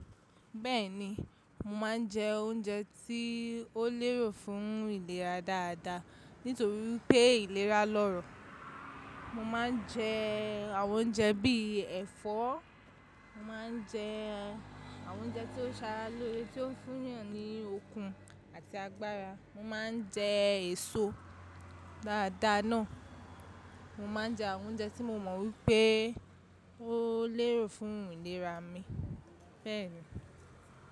Bẹ́ẹ̀ni, mo máa ń jẹ oúnjẹ tí ó lérò fún ìlera dáadáa nítorí pé ìlera lọ́rọ̀. Mo máa ń jẹ àwọn oúnjẹ bíi ẹ̀fọ́, mo máa ń jẹ àwọn oúnjẹ tó ṣara loore tí ó ń fún'yàn ní okun àti agbára. Mo máa ń jẹ èso dáadáa náà. Mo máa ń jẹ àwọn oúnjẹ tí mo mọ̀ wípé ó lérò fún ìlera mi bẹ́ẹ̀ni.